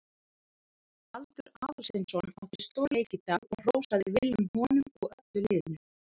Baldur Aðalsteinsson átti stórleik í dag og hrósaði Willum honum og öllu liðinu.